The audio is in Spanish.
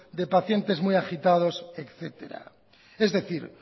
de pacientes muy agitados etcétera es decir